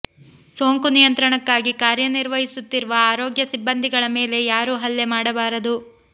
ಸೋಂಕು ನಿಯಂತ್ರಣಕ್ಕಾಗಿ ಕಾರ್ಯ ನಿರ್ವಹಿಸುತ್ತಿರುವ ಆರೋಗ್ಯ ಸಿಬ್ಬಂದಿಗಳ ಮೇಲೆ ಯಾರೂ ಹಲ್ಲೆ ಮಾಡಬಾರದು